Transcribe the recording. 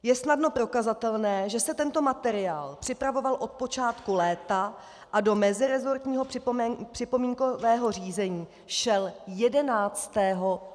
Je snadno prokazatelné, že se tento materiál připravoval od počátku léta a do meziresortního připomínkového řízení šel 11. září letošního roku.